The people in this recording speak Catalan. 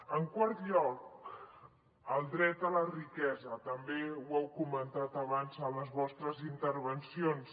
en quart lloc el dret a la riquesa també ho heu comentat abans en les vostres intervencions